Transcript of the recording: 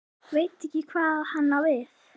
Veit ekki hvað hann á við.